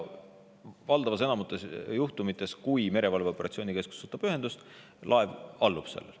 Valdava osa juhtumite puhul on nii, et kui merevalveoperatsiooni keskus võtab ühendust, siis laev allub sellele.